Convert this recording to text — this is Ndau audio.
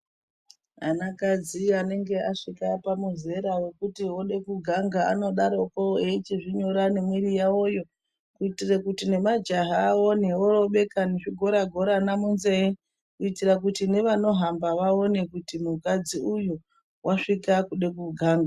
Anakadzi anenge asvika pamuzera wekuti ode kuganga anodaroko echizvinyora nemwiri yavoyo kuitire kuti nemajaha aone vorobeka nezvigolagolana munzeye kuitira kuti nevanohamba vaone kuti mukadzi uyu wasvika kude koganga.